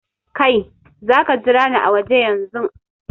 Kai, za ka jira ni a waje yanzun!